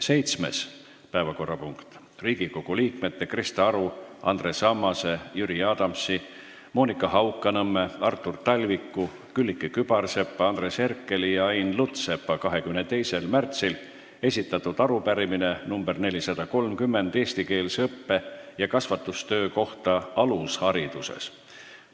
Seitsmes päevakorrapunkt: Riigikogu liikmete Krista Aru, Andres Ammase, Jüri Adamsi, Monika Haukanõmme, Artur Talviku, Külliki Kübarsepa, Andres Herkeli ja Ain Lutsepa 22. märtsil esitatud arupärimine nr 430 eestikeelse õppe- ja kasvatustöö kohta alushariduses.